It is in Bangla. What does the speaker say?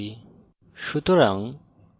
এখন একটি project তৈরী করি